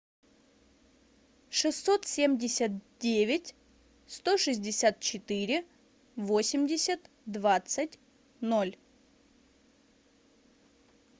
шестьсот семьдесят девять сто шестьдесят четыре восемьдесят двадцать ноль